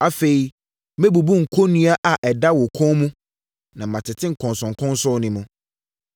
Afei, mɛbubu kɔnnua a ɛda wo kɔn mu na matete nkɔnsɔnkɔnsɔn no mu.”